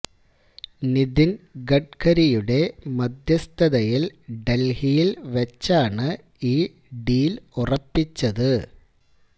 നിതിൻ ഗഡ്കരിയുടെ മധ്യസ്ഥതയിൽ ഡൽഹിയിൽ വച്ചാണ് ഈ ഡീൽ ഉറപ്പിച്ചത്